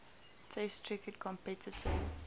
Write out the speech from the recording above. test cricket competitions